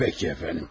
Yaxşı əfəndim.